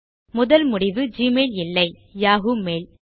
முதல் முடிவு ஜிமெயில் இல்லை யாஹூ மெயில்